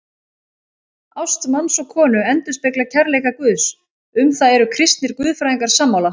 Ást manns og konu endurspeglar kærleika Guðs, um það eru kristnir guðfræðingar sammála.